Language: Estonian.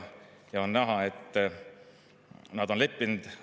Ja on näha, et nad on leppinud.